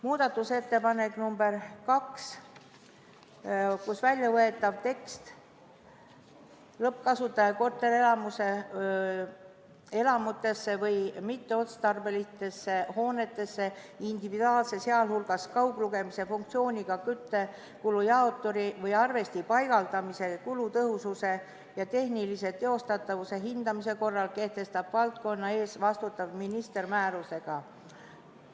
Muudatusettepanek nr 2, väljavõetav tekst: "Lõppkasutaja korterelamutesse või mitmeotstarbelistesse hoonetesse individuaalse, sealhulgas kauglugemise funktsiooniga küttekulujaoturi või arvesti paigaldamise kulutõhususe ja tehnilise teostatavuse hindamise korra kehtestab valdkonna eest vastutav minister määrusega.